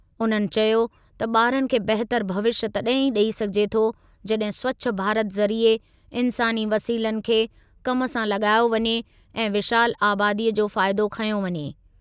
उन्हनि चयो त ॿारनि खे बहितरु भविष्यु तॾहिं ई ॾेई सघिजे थो, जॾहिं स्वच्छ भारत ज़रिए इंसानी वसीलनि खे कमु सां लॻायो वञे ऐं विशाल आबादीअ जो फ़ाइदो खंयो वञे।